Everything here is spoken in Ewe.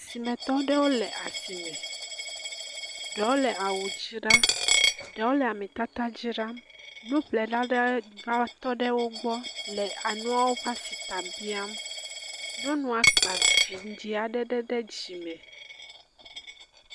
Simetɔ ɖewo le asime. Ɖewo le awu dzra, ɖewo le ametata dzra. Nuƒlela aɖe va tɔ ɖe wogbɔ le enuawo ƒe Asita biam. Nyɔnua kpa vɔ̃dziɔ̃ aɖe ɖe dzime.